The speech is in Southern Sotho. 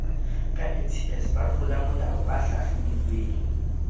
ka ncs batlolamolao ba hlahlobilweng